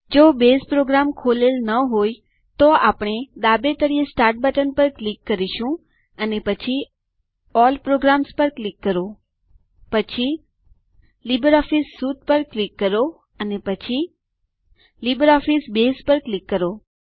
જો base program ખોલેલો ન હોય તો પછી આપણે ડાબે તળિયે સ્ટાર્ટ બટન પર ક્લિક કરો અને પછી અલ્લ પ્રોગ્રામ્સ પર ક્લિક કરો પછી લિબ્રિઓફિસ સ્યુટ પર ક્લિક કરો અને પછી લિબ્રિઓફિસ બસે પર ક્લિક કરો